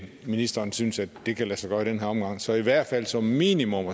ministeren synes at det kan lade sig gøre i den her omgang så i hvert fald som minimum